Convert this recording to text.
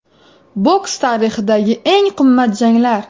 Boks tarixidagi eng qimmat janglar.